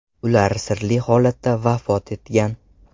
Ular sirli holatda vafot etgan.